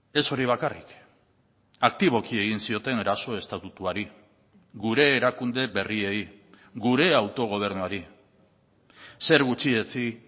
ez hori bakarrik aktiboki egin zioten eraso estatutuari gure erakunde berriei gure autogobernuari zer gutxietsi